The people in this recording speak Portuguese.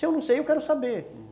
Se eu não sei, eu quero saber, uhum